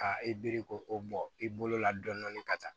Ka i biri ko o bɔ i bolo la dɔni dɔni ka taa